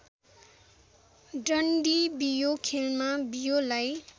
डन्डीबियो खेलमा बियोलाई